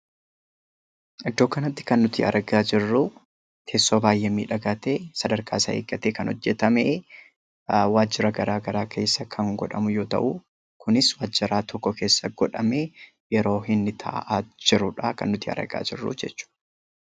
Iddoo kanatti kan nuti argaa jirru teessoo baay'ee miidhagaa ta'e sadarkaa isaa eeggate kan hojjatame waajjira garaagaraa keessa kan godhamu kunis galma tokko keessa kaa'amee yeroo inni taa'aa jirudha jechuudha.